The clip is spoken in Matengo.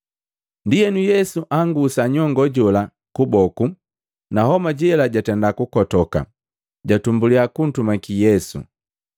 Ndienu, Yesu angusa nyongoo jola kuboku, na homa jela jatenda kukotoka, jatumbuliya kuntumaki Yesu.